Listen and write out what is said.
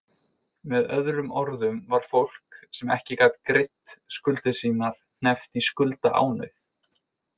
Með öðrum orðum var fólk, sem ekki gat greidd skuldir sínar, hneppt í skuldaánauð.